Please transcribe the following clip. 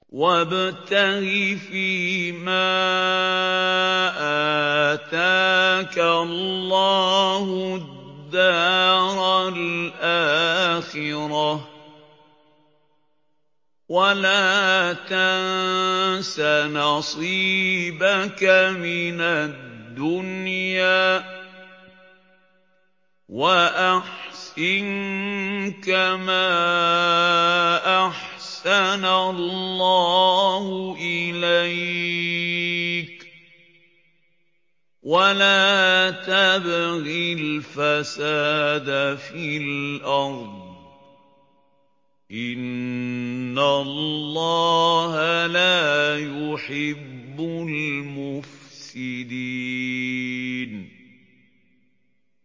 وَابْتَغِ فِيمَا آتَاكَ اللَّهُ الدَّارَ الْآخِرَةَ ۖ وَلَا تَنسَ نَصِيبَكَ مِنَ الدُّنْيَا ۖ وَأَحْسِن كَمَا أَحْسَنَ اللَّهُ إِلَيْكَ ۖ وَلَا تَبْغِ الْفَسَادَ فِي الْأَرْضِ ۖ إِنَّ اللَّهَ لَا يُحِبُّ الْمُفْسِدِينَ